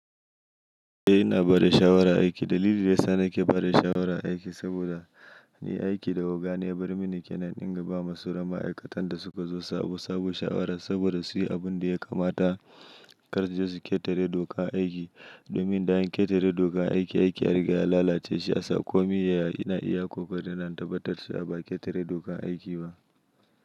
Eh ina bada shawara aiki. Dalili da ya sa nake bare shawara aiki saboda ni aiki da oga ne ya bar mini kenan in ba ma su ra ma'aikatan da suka zo sabo, sabo shawara saboda su yi abun da ya kamata kar su je su ƙetare doka a aiki. Domin da an ƙetare doka a aiki, aiki yariga ya lalace shiya sa ƙomi ya ya ina iya gwargodo na in tabbatar shi a ba ƙetare dokan aiki ba.